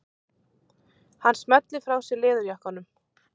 Hann smellir frá sér leðurjakkanum.